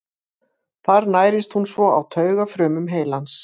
Þar nærist hún svo á taugafrumum heilans.